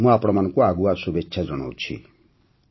ମୁଁ ଆପଣମାନଙ୍କୁ ଆଗୁଆ ଶୁଭେଚ୍ଛା ଜଣାଉଛି